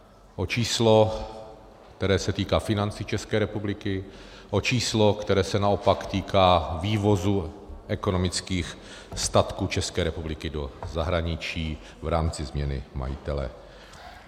O číslo, které se týká financí České republiky, o číslo, které se naopak týká vývozu ekonomických statků České republiky do zahraničí v rámci změny majitele.